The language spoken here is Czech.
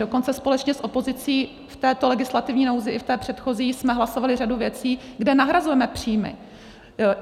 Dokonce společně s opozicí v této legislativní nouzi i v té předchozí jsme hlasovali řadu věcí, kde nahrazujeme příjmy.